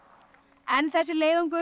en þessi leiðangur